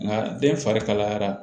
Nka den fari kalayara